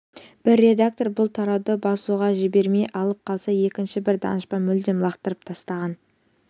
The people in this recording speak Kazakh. бір редактор бұл тарауды басуға жібермей алып қалса екінші бір данышпан мүлдем лақтырып тастаған